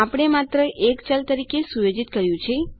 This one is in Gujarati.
આપણે માત્ર એક ચલ તરીકે સુયોજિત કર્યું છે